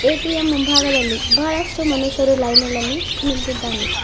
ATM ಮುಂಭಾಗದಲ್ಲಿ ಬಹಳಷ್ಟು ಮನುಷ್ಯರು ಲೈನಿನಲ್ಲಿ ನಿಂತಿದ್ದಾನೆ.